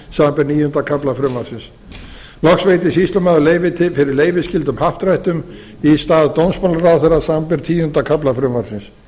samanber níunda kafla frumvarpsins loks veitir sýslumaður leyfi til fyrir leyfisskyldum happdrættum í stað dómsmálaráðherra samanber tíunda kafla frumvarpsins